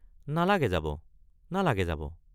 নালাগে যাব নালাগে যাব।